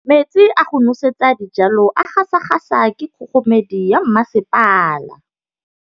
Metsi a go nosetsa dijalo a gasa gasa ke kgogomedi ya masepala.